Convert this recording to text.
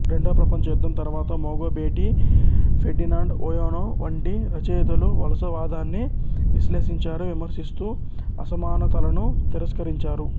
రెండో ప్రపంచ యుద్ధం తరువాత మోగో బేటి ఫెర్డినాండ్ ఓయోనో వంటి రచయితలు వలసవాదాన్ని విశ్లేషించారు విమర్శిస్తూ అసమానతలను తిరస్కరించారు